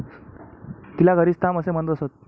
तिला घरीच थांब असे म्हणत असत.